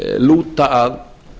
lúta að